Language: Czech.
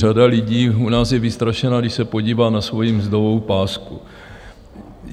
Řada lidí u nás je vystrašena, když se podívá na svoji mzdovou pásku.